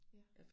Ja